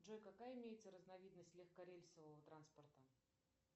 джой какая имеется разновидность легкорельсового транспорта